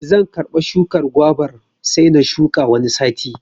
Zan karɓa shukar gwabar sai na shuka Wani sati.